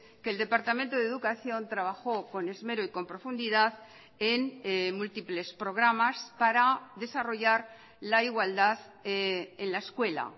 que el departamento de educación trabajó con esmero y con profundidad en múltiples programas para desarrollar la igualdad en la escuela